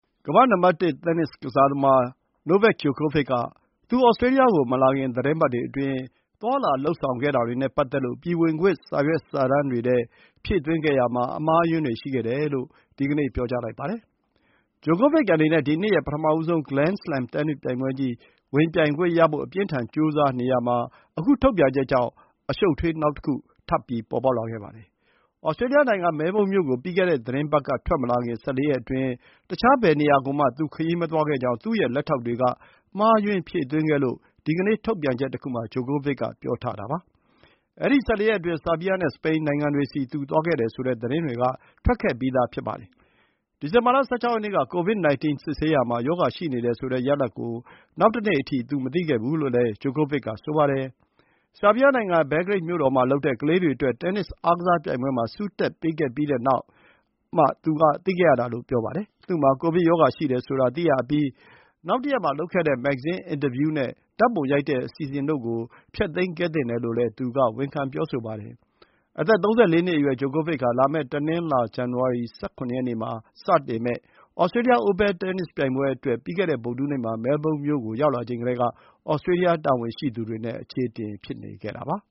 ကမ္ဘာ့နံပါတ်တစ် တင်းနစ်ကစားသမား Novak Djokovic က သူ သြစတြေးလျကိုမလာခင် သီတင်းပတ်တွေအတွင်း သွားလာလုပ်ဆောင်တာတွေနဲ့ပတ်သက်လို့ ပြည်ဝင်ခွင့် စာရွက်စာတမ်းတွေထဲ ဖြည့်သွင်းတာမှာ အမှားအယွင်းတွေ ရှိခဲ့တယ် လို့ ဒီကနေ့ ပြောပါတယ်။ Djokovic အနေနဲ့ ဒီနှစ်ရဲ့ ပထမဆုံး Grand Slam တင်းနစ်ပြိုင်ပွဲကြီး ဝင်ပြိုင်ခွင့်ရဖို့ အပြင်းအထန် ကြိုးစားနေရတာမှာ အခုထုတ်ပြန်ချက်ကြောင့် အရှုပ်အထွေး နောက်တခု ထပ်ပေါ်လာပါတယ်။ သြစတြေးလျနိုင်ငံ၊ မဲလ်ဘုန်းမြို့ကို ပြီးခဲ့တဲ့သီတင်းပတ်က ထွက်မလာခင် ၁၄ ရက်အတွင်း တခြား ဘယ်နေရာကိုမှ သူ ခရီးမသွားခဲ့ဘူးဆိုပြီး သူ့ရဲ့လက်ထောက်တွေက မှားယွင်းဖြည့်သွင်းခဲ့တယ်လို့ ဒီကနေ့ထုတ်ပြန်ချက်တခုမှာ Djokovic က ပြောထားတာပါ။ အဲဒီ ၁၄ ရက်အတွင်း ဆားဘီးယားနဲ့ စပိန်နိုင်ငံတွေဆီ သူသွားခဲ့တယ်ဆိုတဲ့ သတင်းတွေက ထွက်ထားခဲ့ပြီးဖြစ်ပါတယ်။ ဒီဇင်ဘာလ ၁၆ ရက်နေ့က COVID-19 စစ်ဆေးတာမှာ ရောဂါရှိနေတယ်ဆိုတဲ့ ရလဒ်ကို နောက်တနေ့အထိ သူမသိခဲ့ဘူးလို့ လည်း Djokovic ကဆိုပါတယ်။ ဆားဘီးယားနိုင်ငံ၊ ဘဲလ်ဂရိတ်မြို့တော်မှာလုပ်တဲ့ ကလေးတွေအတွက် တင်းနစ် အားကစား ပြိုင်ပွဲမှာ ဆုတက်ပေးခဲ့ပြီးတဲ့နောက်မှာမှ သူသိခဲ့တာလို့ပြောပါတယ်။ သူ့မှာ ကိုဗစ်ရောဂါရှိတယ်ဆိုတာ သိရအပြီး နောက်တရက်မှာလုပ်ခဲ့တဲ့ မဂ္ဂဇင်းအင်တာဗျူးနဲ့ ဓာတ်ပုံရိုက်တဲ့ အစီအစဉ်တို့ကို ဖျက်သိမ်းခဲ့သင့်တယ်လို့လည်း သူက ဝန်ခံပြောဆိုပါတယ်။ အသက် ၃၄ နှစ်အရွယ် Djokovic ဟာ လာမယ့်တနင်္လာ ဇန်နဝါရီလ ၁၇ ရက်နေ့ မှာစမယ့် သြစတြေးလျ Open တင်းနစ်ပြိုင်ပွဲအတွက် ပြီးခဲ့တဲ့ဗုဒ္ဓဟူးနေ့မှာ မဲလ်ဘုန်းမြို့ကို ရောက်လာချိန်ကတည်းက သြစတြေးလျတာဝန်ရှိသူတွေနဲ့ အခြေအတင်ဖြစ်နေတာပါ